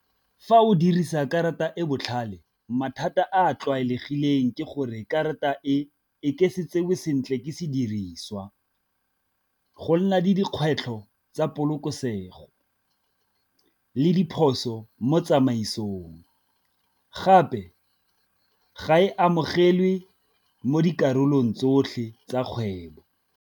Fa o dirisa karata e botlhale mathata a a tlwaelegileng ke gore karata e e ke se tsewe sentle ke se diriswa, go nna le dikgwetlho tsa polokesego le diphoso mo tsamaisong gape ga e amogelwe mo dikarolong tsotlhe tsa kgwebo.